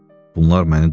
Bunlar məni dolayıblar?